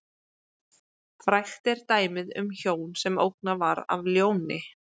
Frægt er dæmið um hjón sem ógnað var af ljóni.